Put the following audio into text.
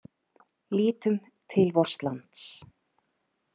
Lítum til vors lands.